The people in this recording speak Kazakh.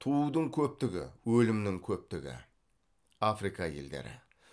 туудың көптігі өлімнің көптігі